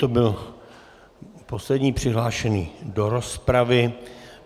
To byl poslední přihlášený do rozpravy.